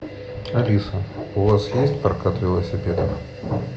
алиса у вас есть прокат велосипедов